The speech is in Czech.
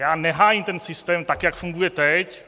Já nehájím ten systém, tak jak funguje teď.